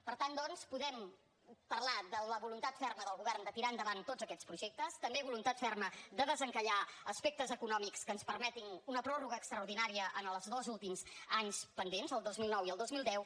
per tant doncs podem parlar de la voluntat ferma del govern de tirar endavant tots aquests projectes també voluntat ferma de desencallar aspectes econòmics que ens permetin una pròrroga extraordinària en els dos últims anys pendents el dos mil nou i el dos mil deu